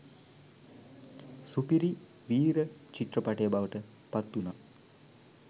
සුපිරි වීර චිත්‍රපටය බවට පත් වුණා